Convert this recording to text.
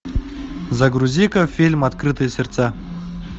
загрузи ка фильм открытые сердца